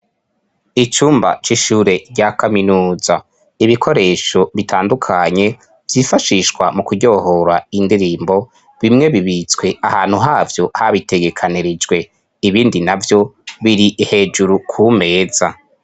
Icumba c'ishure rya kaminuza. Ibikoresho bitandukanye vyifashishwa mu kuryohora indirimbo, bimwe bibitswe ahantu havyo habitegekanirijwe ibindi na vyo biri hejuru ku meza.